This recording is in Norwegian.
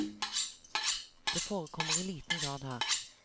Det forekommer i liten grad her.